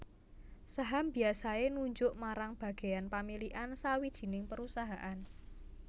Saham biasaé nunjuk marang bagéyan pamilikan sawijining perusahaan